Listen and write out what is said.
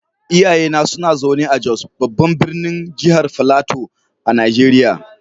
Iyayena suna zaune a Jos, babban birnin jihar Filato a Najeriya.